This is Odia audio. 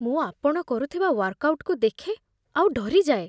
ମୁଁ ଆପଣ କରୁଥିବା ୱାର୍କଆଉଟ୍‌କୁ ଦେଖେ ଆଉ ଡରିଯାଏ।